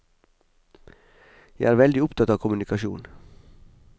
Jeg er veldig opptatt av kommunikasjon.